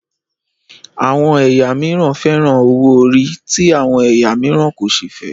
Àwọn ẹyà mìíràn fẹ́ràn owó ori ti àwọn ẹ̀yà mìíràn kò sí fẹ